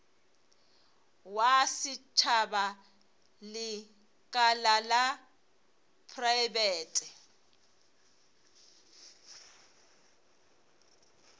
wa setšhaba lekala la praebete